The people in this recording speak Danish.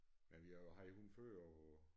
Men vi har jo haft hun før og